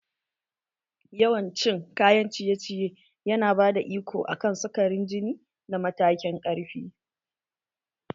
Yawan cin kayan ciye ciye yana bada iko akan sukarin jini da matakin ƙarfi